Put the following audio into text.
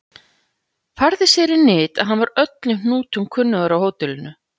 Færði sér í nyt að hann var öllum hnútum kunnugur á hótelinu.